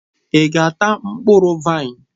Ị ga-ata mkpụrụ vaịn?